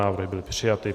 Návrh byl přijat.